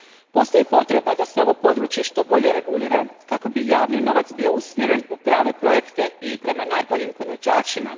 Postoji potreba da se ovo područje što bolje regulira kako bi javni novac bio usmjeren u prave projekte i prema najboljim ponuđačima.